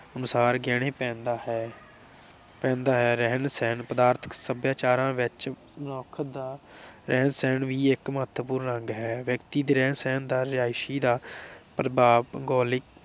ਅਨੁਸਾਰ ਗਹਿਣੇ ਪਹਿਨਦਾ ਹੈ ਪਹਿਨਦਾ ਹੈ। ਰਹਿਣ ਸਹਿਣ ਪਦਾਰਥਕ ਸਭਿਆਚਾਰਾ ਵਿਚ ਮਨੁੱਖ ਦਾ ਰਹਿਣ ਸਹਿਣ ਵੀ ਇਕ ਮਹੱਤਵਪੂਰਨ ਅੰਗ ਹੈ । ਵਿਅਕਤੀ ਦੇ ਰਹਿਣ ਸਹਿਣ ਦਾ ਇਕ ਰਿਹਾਇਸ਼ੀ ਪ੍ਰਭਾਵ ਭੂਗੋਲਿਕ